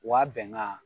Wa bɛnkan